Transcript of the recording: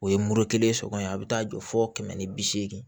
O ye mori kelen sɔgɔ ye a bɛ taa jɔ fo kɛmɛ ni bi seegin